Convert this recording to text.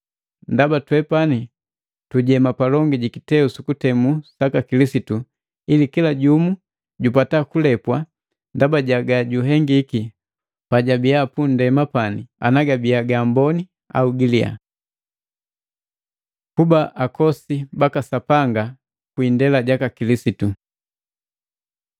Ndaba twepani tujema palongi jikiteu sukutemu saka Kilisitu, ili kila jumu jupata kulepwa ndaba ja gajuhengiki pajabi pundema pani, ana gabiya gaamboni au giliya. Kuba akosi baka Sapanga kwi indela jaka Kilisitu